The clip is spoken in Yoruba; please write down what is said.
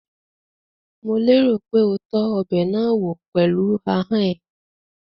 Mò lérò pé o tọ́ ọbẹ̀ náà wò pẹ̀lú ahọ́n ẹ?